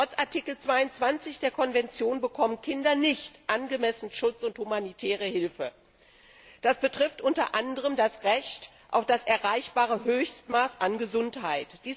Trotz Artikel 22 der Konvention bekommen Kinder nicht in angemessenem Umfang Schutz und humanitäre Hilfe. Das betrifft unter anderem das Recht auf das erreichbare Höchstmaß an Gesundheit.